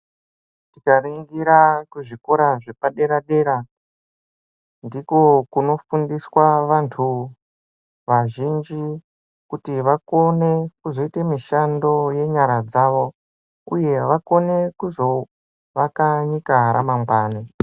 Tikaringira kuzvikora zvepadera dera ndiko kunofundiswa vantu vazhinji kuti vakone kuzoita mishando yenyara dzavo uye kuti vakone kuzoaka nyika ramangwani.